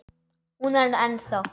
Hún er ennþá.